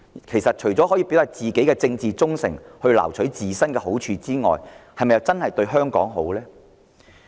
其實，他們這樣做，除了表達自身的政治忠誠及撈取好處外，是否真的對香港有好處？